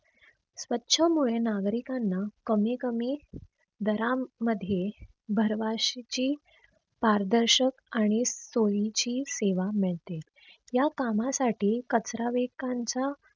स्वछ मुळे नागरिकांना कमी कमी दरा मध्ये भार्वशीची पारदर्शक आणि सोयीची सेवा मिळते. या कामासाठी कचरा वेकांचा